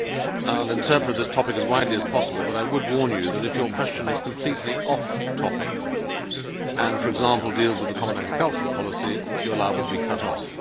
I will interpret this topic as widely as possible, but I would warn you that if your question is completely off topic and, for example, deals with the common agricultural policy, you are liable to be cut off.